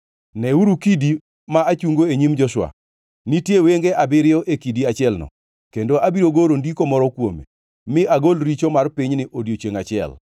Neuru kidi ma achungo e nyim Joshua! Nitie wenge abiriyo e kidi achielno, kendo abiro goro ndiko moro kuome, mi agol richo mar pinyni odiechiengʼ achiel.’